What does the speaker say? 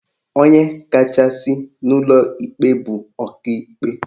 Onye kachasị n'ụlọ ikpe bụ Ọkaikpe